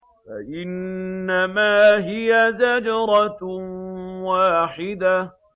فَإِنَّمَا هِيَ زَجْرَةٌ وَاحِدَةٌ